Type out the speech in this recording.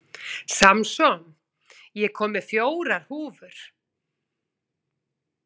Samson, ég kom með fjórar húfur!